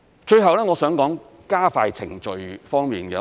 最後，我想談談加快程序方面。